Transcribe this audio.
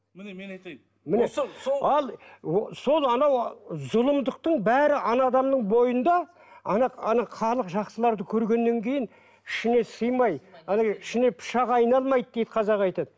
ал сол анау зұлымдықтың бәрі ана адамның бойында ана ана халық жақсыларды көргеннен кейін ішіне сыймай ана ішіне пышақ айналмайды дейді қазақ айтады